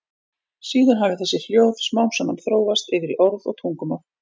Síðan hafi þessi hljóð smám saman þróast yfir í orð og tungumál.